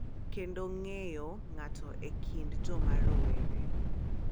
Kendo ng’eyo ng’ato e kind joma rowere.